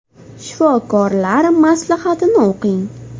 Shifokorlar maslahatini o‘qing!